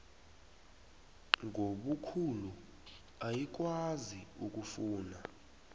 ngobukhulu ayikwazi ukufuna